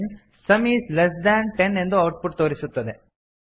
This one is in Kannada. some is less than ten ಎಂದು ಔಟ್ ಪುಟ್ ತೋರಿಸುತ್ತದೆ